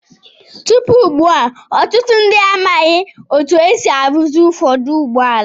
Tupu ugbu a, ọtụtụ ndị amaghị otú e si arụzi ụfọdụ ụgbọala.